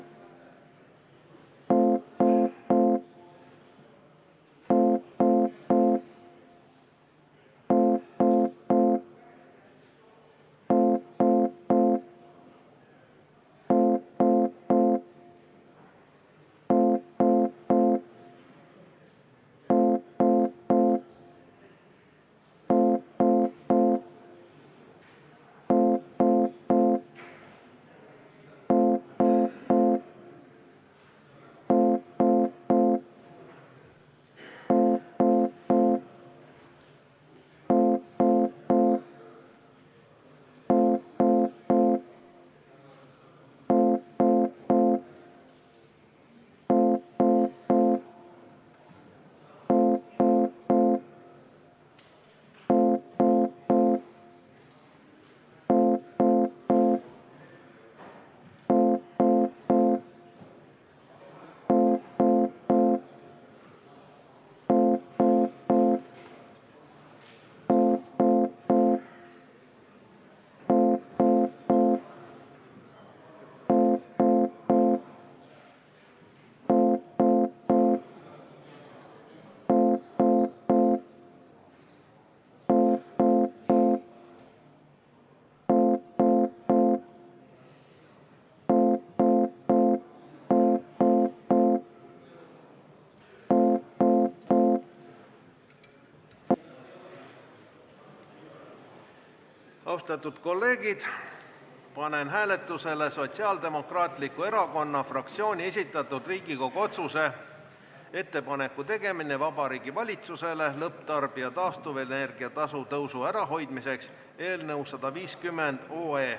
Austatud kolleegid, panen hääletusele Sotsiaaldemokraatliku Erakonna fraktsiooni esitatud Riigikogu otsuse "Ettepaneku tegemine Vabariigi Valitsusele lõpptarbija taastuvenergia tasu tõusu ära hoidmiseks" eelnõu.